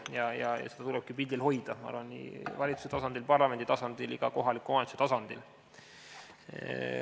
Ja minu arvates seda tulebki pildil hoida nii valitsuse tasandil, parlamendi tasandil kui ka kohaliku omavalitsuse tasandil.